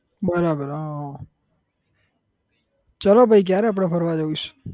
બરાબર હા ચાલો પહી ક્યારે આપડે ફરવા જઉ છે?